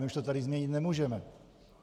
My už to tady změnit nemůžeme.